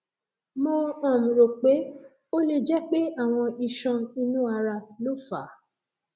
mo um rò pé ó lè jẹ pé àwọn iṣan inú ara ló fà á